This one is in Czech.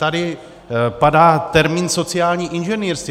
Tady padá termín sociální inženýrství.